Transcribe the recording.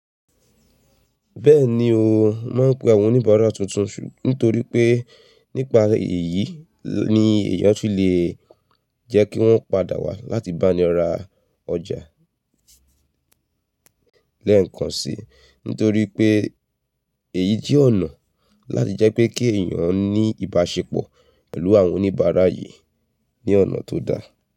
Bẹ́ẹ̀ni o, mo máa ń pe àwọn oníbàárà tuntun nítorí pé nípa èyí ni èèyàn tún lè jẹ́ kí wọ́n padà wá láti bá ni ra ọjà lẹ́ẹ̀kan si. Nítorí pé èyí jẹ́ ọ̀nà láti jẹ́ pé kí èèyàn ní ìbáṣepọ̀ pẹ̀lú àwọn oníbàárà yìí ní ọ̀nà tó dáa.